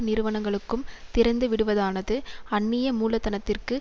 நிறுவனங்களுக்கும் திறந்துவிடுவதானது அன்னிய மூலதனத்திற்கும்